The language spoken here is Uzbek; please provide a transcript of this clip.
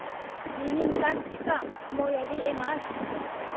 Mening taktikam himoyaviy emas.